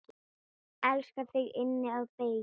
Elska þig inn að beini.